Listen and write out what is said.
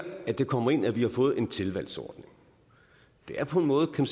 det kommer ind at vi har fået en tilvalgsordning og det er på en måde kan